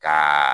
Ka